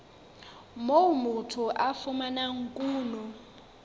moo motho a fumanang kuno